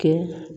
Kɛ